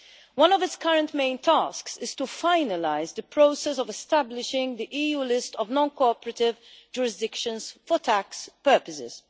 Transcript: One of its current main tasks is to finalise the process of establishing the EU list of non cooperative jurisdictions for tax purposes.